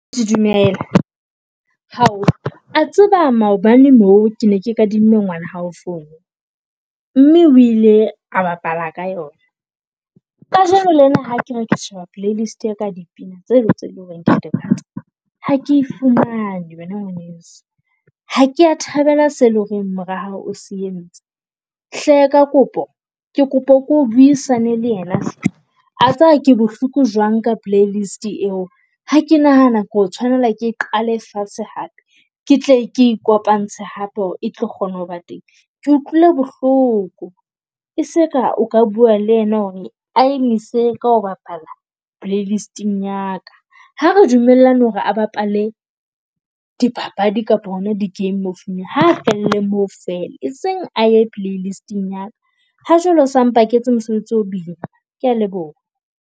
Dumela. Hao, wa tseba maobane moo ke ne ke kadimme ngwana hao fono. Mme o ile a bapala ka yona. Kajeno lena ha ke re ke sheba playlist ya ka ya dipina tse le tse leng hore kea di rata ha ke e fumane wena ngwaneso. Ha kea thabela se leng horeng mora hao o se entse. Hle ka kopo ke kopa o buisane le yena hle. A tseba ke bohloko jwang ka play list eo? Ha ke nahana ke tshwanela ke qale fatshe hape ke tle ke ikopantse hape hore e tlo kgona ho ba teng, ke utlwile bohloko. E seka o ka bua le yena hore a emise ka ho bapala playlist-ing ya ka. Ha re dumellane hore a bapale di papadi kapa hona di-game mo phone-ung ha felle moo fela eseng aye playlist-ing ya ka. Ha jwale o sa mpaketse mosebetsi, o boima. Kea leboha